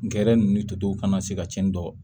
Gɛrɛ ninnu totow kana se ka cɛnni dɔn